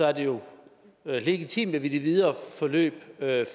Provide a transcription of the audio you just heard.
er det jo legitimt at vi i det videre forløb